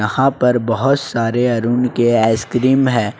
यहां पर बहुत सारे अरुण के आइसक्रीम है।